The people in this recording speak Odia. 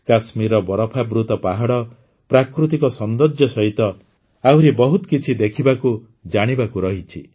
କାଶ୍ମୀରର ବରଫାବୃତ ପାହାଡ଼ ପ୍ରାକୃତିକ ସୌନ୍ଦର୍ଯ୍ୟ ସହିତ ଆହୁରି ବହୁତ କିଛି ଦେଖିବାକୁଜାଣିବାକୁ ରହିଛି